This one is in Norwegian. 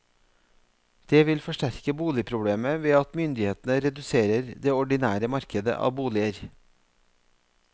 Det vil forsterke boligproblemet ved at myndighetene reduserer det ordinære markedet av boliger.